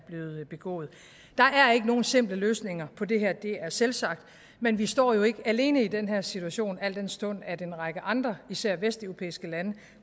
ikke nogen simple løsninger på det her det er selvsagt men vi står jo ikke alene i den her situation al den stund at en række andre især vesteuropæiske lande